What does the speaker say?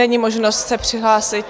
Není možnost se přihlásit.